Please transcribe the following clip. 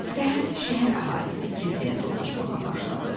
Səhəri şəhər əhalisi kilsəyə toplamağa başladı.